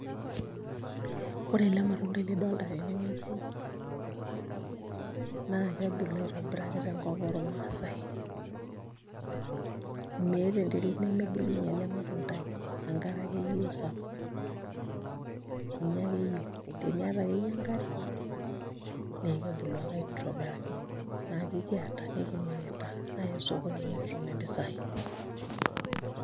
Ore ele matundai lidolita tenewueji naa kebulu aitobiraki tenkop ormaasai, meeta enterit nemebulunyie ele matundai enkarfe ake eyieu sapuk ninye ake eyieu, teniata akeyie enkare naa kebulu ake aitobiraki naa kekiata nekimirita aaya osokoni nekitum mpisaai.